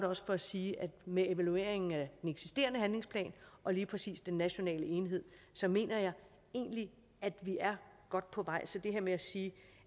også at sige at med evalueringen af den eksisterende handlingsplan og lige præcis den nationale enhed så mener jeg egentlig at vi er godt på vej så det her med at sige